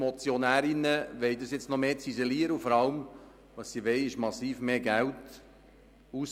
Die Motionärinnen wollen dieses nun noch mehr ziselieren und vor allem massiv mehr Geld ausgeben.